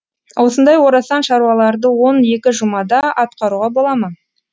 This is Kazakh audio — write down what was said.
осындай орасан шаруаларды он екі жұмада атқаруға бола ма